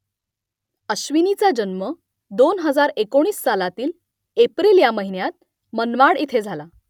अश्विनीचा जन्म दोन हजार एकोणीस सालातील एप्रिल ह्या महिन्यात मनमाड इथे झाला